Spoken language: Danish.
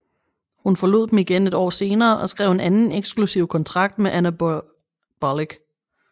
Hun forlod dem igen et år senere og skrev en anden eksklusiv kontrakt med Anabolic